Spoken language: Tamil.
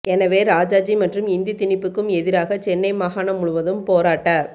எனவே இராஜாஜி மற்றும் இந்தி திணிப்புக்கும் எதிராக சென்னை மாகாணம் முழுவதும் போராட்ட